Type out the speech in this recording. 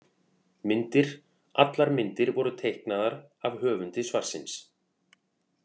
Myndir: Allar myndir voru teiknaðar af höfundi svarsins.